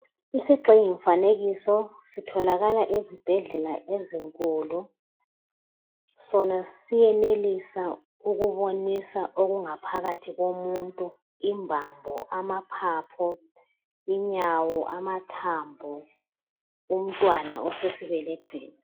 Isigxingi mfanekiso sitholakala ezibhedlela ezinkulu Sona siyenelisa ukubonisa okungaphakathi komuntu imbambo amaphaphu ,inyawo amathambo , umntwana osesibelethweni.